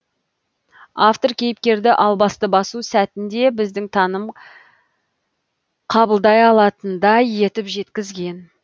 автор кейіпкерді албасты басу сәтін де біздің таным қабылдай алатындай етіп жеткізген